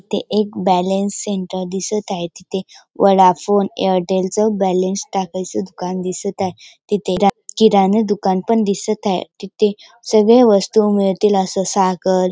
ते एक balance centre दिसत आहे तिथे वोडाफोन एअरटेलच बॅलन्स टाकायच दुकान दिसत आहे तिथे रा किराणा दुकान पण दिसत आहे तिथे सगळ्या वस्तू मिळतील अस साखर --